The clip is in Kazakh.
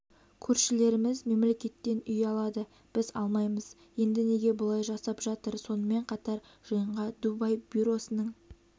көршілеріміз мемлекеттен үй алады біз алмаймыз енді неге бұлай жасап жатыр сонымен қатар жиынға дубай бюросының